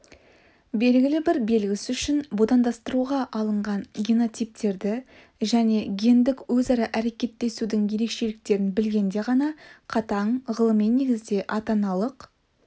белгілі бір белгісі үшін будандастыруға алынған генотиптерді және гендік өзара әрекеттесудің ерекшеліктерін білгенде ғана қатаң ғылыми негізде ата-аналық